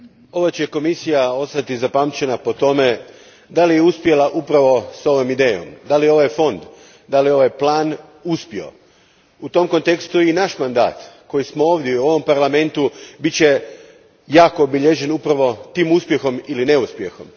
Gospođo predsjedavajuća, ova Komisija će ostati zapamćena po tome je li uspjela upravo s ovom idejom. Je li ovaj fond, je li ovaj plan uspio? U tom kontekstu i naš mandat, koji smo ovdje i u ovom Parlamentu bit će jako obilježen upravo tim uspjehom ili neuspjehom.